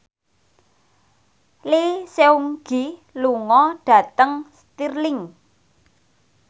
Lee Seung Gi lunga dhateng Stirling